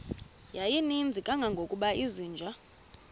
yayininzi kangangokuba izinja